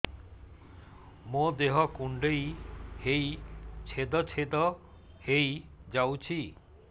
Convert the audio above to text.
ମୋ ଦେହ କୁଣ୍ଡେଇ ହେଇ ଛେଦ ଛେଦ ହେଇ ଯାଉଛି